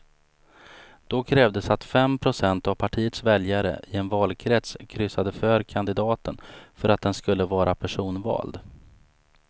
Då krävdes att fem procent av partiets väljare i en valkrets kryssade för kandidaten för att den skulle vara personvald.